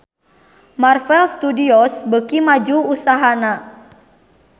Marvel Studios beuki maju usahana